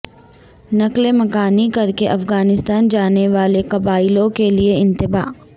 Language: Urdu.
نقل مکانی کر کے افغانستان جانے والے قبائلیوں کے لیے انتباہ